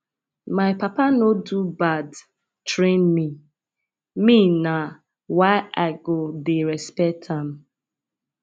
my papa no do bad train me me na why i go dey respect am